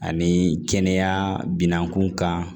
Ani kɛnɛya binakun kan